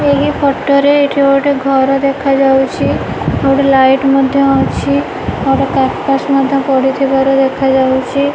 ଏହି ଫଟ ରେ ଏଠି ଗୋଟେ ଘର ଦେଖାଯାଇଛି ଆଉ ଗୋଟେ ଲାଇଟ୍ ମଧ୍ଯ ଅଛି ଆଉ ଗୋଟେ କର୍ପାସ ମଧ୍ୟ ପଡିଥିବାର ଦେଖାଯାଇଛି।